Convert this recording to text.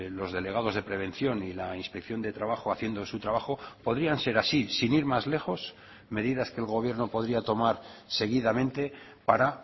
los delegados de prevención y la inspección de trabajo haciendo su trabajo podrían ser así sin ir más lejos medidas que el gobierno podría tomar seguidamente para